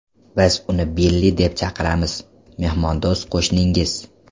Biz uni Billi deb chaqiramiz”, mehmondo‘st qo‘shningiz.